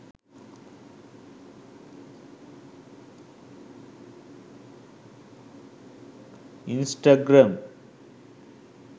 instagram